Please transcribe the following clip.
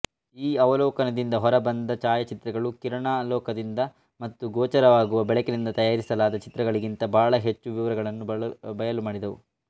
ಈ ಅವಲೋಕನದಿಂದ ಹೊರಬಂದ ಛಾಯಾಚಿತ್ರಗಳು ಕಿರಣಾವಲೋಕನದಿಂದ ಮತ್ತು ಗೋಚರವಾಗುವ ಬೆಳಕಿನಿಂದ ತಯಾರಿಸಲಾದ ಚಿತ್ರಗಳಿಗಿಂತ ಬಹಳ ಹೆಚ್ಚು ವಿವರಗಳನ್ನು ಬಯಲುಮಾಡಿದವು